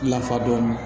Lafa dɔɔni